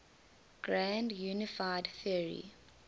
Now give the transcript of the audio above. grand unified theory